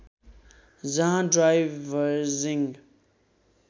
जहाँ डाइभर्जिङ्ग